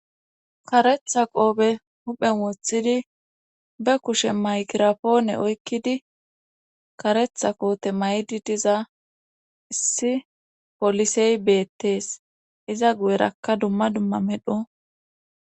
karetha qoope huphen wothidi be kushe maykirapoone oykkidi karetha qoote maydi diza issi polisey beettes iza gu7erakka dumma dumma medho